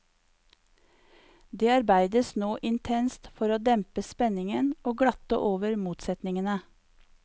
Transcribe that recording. Det arbeides nå intenst for å dempe spenningen og glatte over motsetningene.